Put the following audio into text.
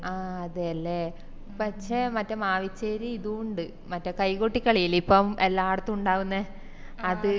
ആഹ് അതെല്ലേ പക്ഷെ മറ്റെ മാവിച്ചേരി ഇതുണ്ട് മറ്റെ കൈകൊട്ടിക്കളില്ലെ ഇപ്പോം എല്ലാടത്തും ഇണ്ടാവുന്നെ അത്